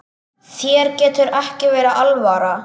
Þér getur ekki verið alvara.